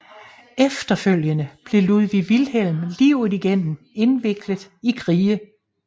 Efterfølgende blev Ludwig Wilhelm livet igennem indviklet i krige